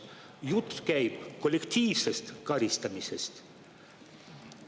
Jutt käib kollektiivsest karistamisest.